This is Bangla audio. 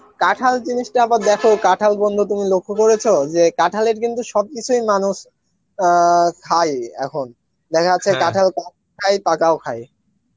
কাঁঠাল জিনিসটা আবার দেখো কাঁঠাল বন্ধু তুমি লক্ষ্য করেছ যে কাঁঠালের কিন্তু সবকিছুই মানুষ অ্যাঁ খায় এখন দেখা যাচ্ছে পাকাও খায়